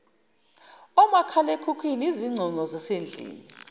omakhalekhukhwini izingcingo zasendlini